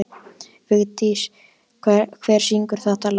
Vigdís, hver syngur þetta lag?